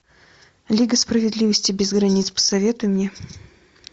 лига справедливости без границ посоветуй мне